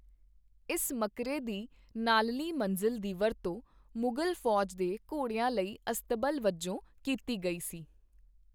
ਇਸ ਮਕਰੇ ਦੀ ਨਾਲਲੀ ਮੰਜ਼ਿਲ ਦੀ ਵਰਤੋਂ ਮੁਗ਼ਲ ਫ਼ੌਜ ਦੇ ਘੋੜਿਆਂ ਲਈ ਅਸਤਬਲ ਵਜੋਂ ਕੀਤੀ ਗਈ ਸੀ।